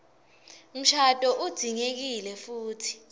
mshado udzingekile futsi